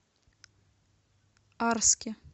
арске